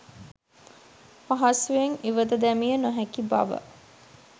පහසුවෙන් ඉවත දැමිය නොහැකිබව